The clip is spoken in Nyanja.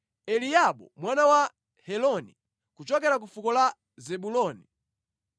Eliabu mwana wa Heloni, kuchokera ku fuko la Zebuloni,